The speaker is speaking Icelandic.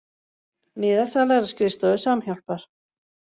Miðasala er á skrifstofu Samhjálpar